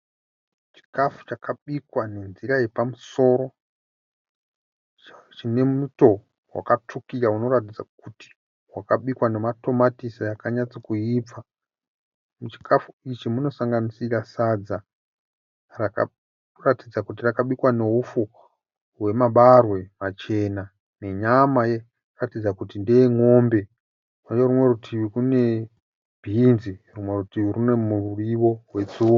Chikafu chakabikwa nenzira yepamusoro, chine muto wakatsvukira unoratidza kuti wakabikwa nematomatisi akanyatsakuibva. Muchikafu ichi munosanganisira sadza rinoratidza kuti rakabikwa neufu wemabarwe machena nenyama inoratidza kuti ndeyen'ombe, Kune rumwe rutivi kune bhinzi, rumwe rutivi rune muriwo wetsunga.